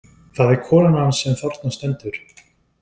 Það er konan hans sem þarna stendur.